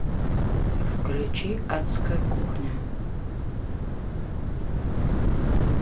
включи адская кухня